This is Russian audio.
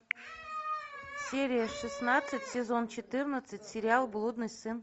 серия шестнадцать сезон четырнадцать сериал блудный сын